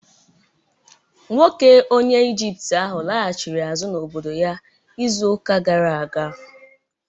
Nwoke onye Ijipt ahụ laghachiri azụ n'obodo ya izu ụka gara aga